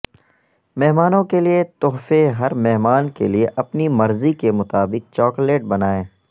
مہمانوں کے لئے تحفے ہر مہمان کے لئے اپنی مرضی کے مطابق چاکلیٹ بنائیں